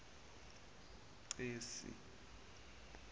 cesi